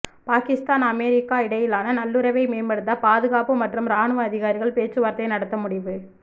Pakistan America இடையிலான நல்லுறவை மேம்படுத்த பாதுகாப்பு மற்றும் ராணுவ அதிகாரிகள் பேச்சுவார்த்தை நடத்த முடிவு